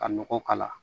Ka nɔgɔ k'a la